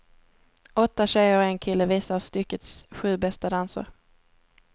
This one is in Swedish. Åtta tjejer och en kille visar styckets sju bästa danser.